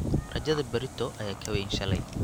Rajada berrito ayaa ka weyn shalay.